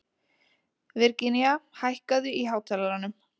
Virginía, hækkaðu í hátalaranum.